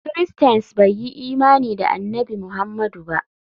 Christains bai yi imani da Annabi Muhammadu ba.